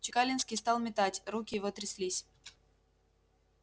чекалинский стал метать руки его тряслись